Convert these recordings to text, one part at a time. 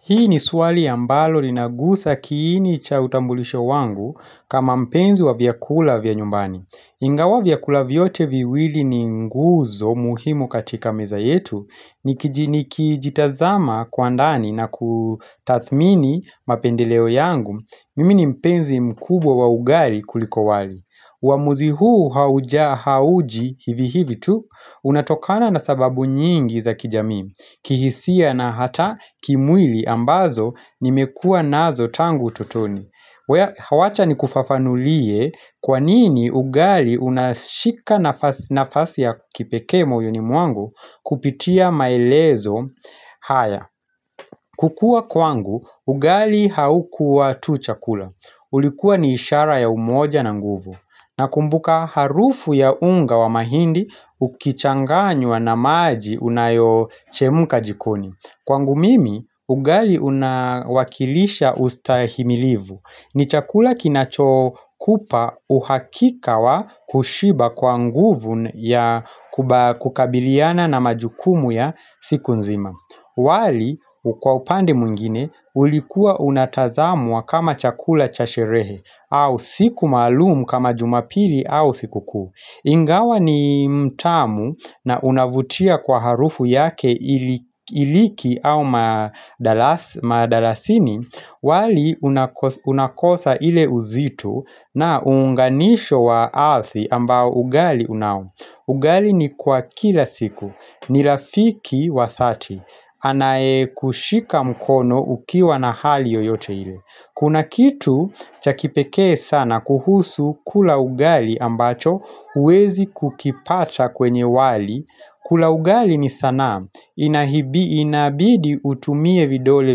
Hii ni swali ambalo linagusa kiini cha utambulisho wangu kama mpenzi wa vyakula vya nyumbani. Ingawa vyakula vyote viwili ni nguzo muhimu katika meza yetu nikijitazama kwa ndani na kutathmini mapendeleo yangu. Mimi ni mpenzi mkubwa wa ugali kuliko wali. Uamuzi huu hauja hauji hivi hivi tu Unatokana na sababu nyingi za kijamii kihisia na hata kimwili ambazo nimekuwa nazo tangu ututoni wacha nikufafanulie kwa nini ugali unashika nafasi ya kipekee moyoni mwangu kupitia maelezo haya kukua kwangu ugali haukuwa tu chakula ulikuwa ni ishara ya umoja na nguvu Nakumbuka harufu ya unga wa mahindi ukichanganywa na maji unayochemuka jikoni. Kwangu mimi, ugali unawakilisha ustahimilivu. Ni chakula kinachokupa uhakika wa kushiba kwa nguvu ya kukabiliana na majukumu ya siku nzima. Wali kwa upande mwingine ulikuwa unatazamwa kama chakula cha sherehe au siku maalum kama jumapili au siku kuu Ingawa ni mtamu na unavutia kwa harufu yake hiliki au mdalasini wali unakosa ile uzito na uunganisho wa arthi ambao ugali unao ugali ni kwa kila siku, ni rafiki wa dhati Anaekushika mkono ukiwa na hali yoyote ile Kuna kitu cha kipekee sana kuhusu kula ugali ambacho huwezi kukipata kwenye wali kula ugali ni sana Inabidi utumie vidole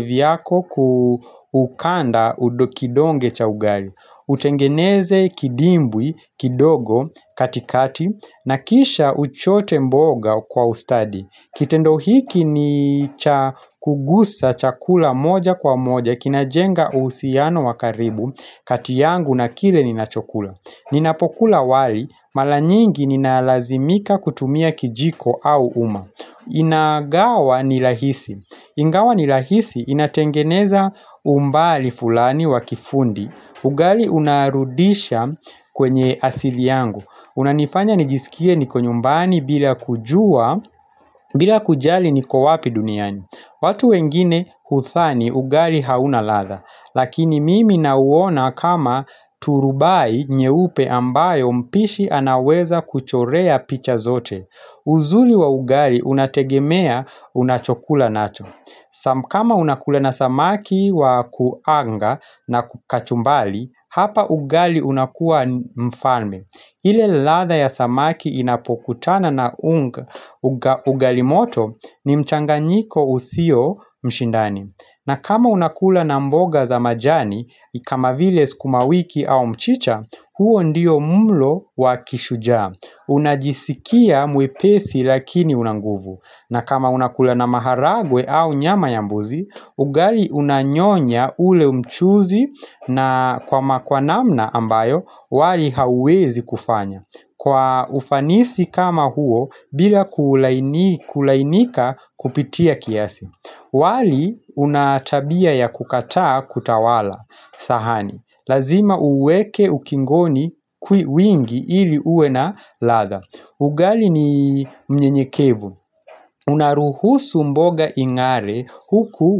vyako kuukanda kidonge cha ugali Utengeneze kidimbwi kidogo katikati na kisha uchote mboga kwa ustadi Kitendo hiki ni kugusa chakula moja kwa moja kina jenga uhusiano wa karibu kati yangu na kile ninachokula Ninapokula wali mara nyingi ninalazimika kutumia kijiko au uma Inagawa ni rahisi Ingawa ni rahisi inatengeneza umbali fulani wa kifundi ugali unarudisha kwenye asili yangu unanifanya nijisikie niko nyumbani bila kujua kujali niko wapi duniani watu wengine hudhani ugali hauna ladha Lakini mimi nauona kama turubai nyeupe ambayo mpishi anaweza kuchorea picha zote uzuri wa ugali unategemea unachokula nacho kama unakula na samaki wa kuanga na kachumbari Hapa ugali unakuwa mfalme ile ladha ya samaki inapokutana na unga ugali moto ni mchanganyiko usio mshindani. Na kama unakula na mboga za majani, kama vile sukuma wiki au mchicha, huo ndio mlo wa kishujaa. Unajisikia mwepesi lakini una nguvu. Na kama unakula na maharagwe au nyama ya mbuzi, ugali unanyonya ule mchuzi na kwa namna ambayo wali hauwezi kufanya Kwa ufanisi kama huo bila kulainika kupitia kiasi wali una tabia ya kukataa kutawala sahani Lazima uweke ukingoni wingi ili uwe na ladha ugali ni mnyenyekevu, unaruhusu mboga ing'are huku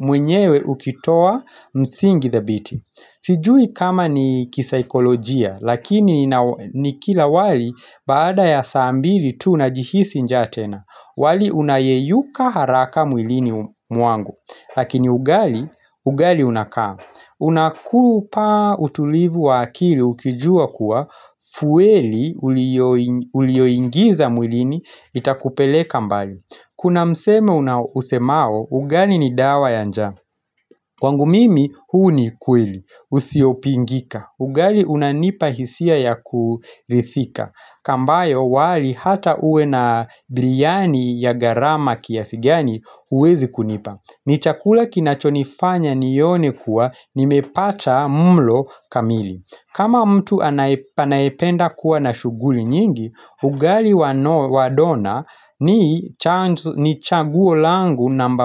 mwenyewe ukitoa msingi thabiti Sijui kama ni kisaikolojia, lakini nikila wali baada ya saa mbili tu najihisi njaa tena wali unayeyuka haraka mwilini mwangu, lakini ugali unakaa Unakupa utulivu wa akili ukijua kuwa Fueli ulioingiza mwilini itakupeleka mbali Kuna msemo una usemao ugali ni dawa ya njaa Kwangu mimi huu ni ukweli Usiopingika ugali unanipa hisia ya kurithika ambayo wali hata uwe na briyani ya gharama kiasi gani huwezi kunipa ni chakula kinachonifanya nione kuwa nimepata mlo kamili kama mtu anayependa kuwa na shughuli nyingi ugali wa dona ni chaguo langu namba.